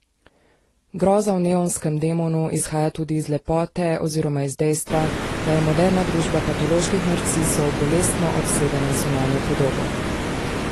Groza v Neonskem demonu izhaja tudi iz lepote oziroma iz dejstva, da je moderna družba patoloških narcisov bolestno obsedena z zunanjo podobo.